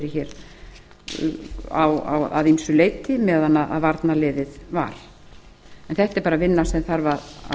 hér að ýmsu leyti meðan varnarliðið var en þetta er bara vinna sem þarf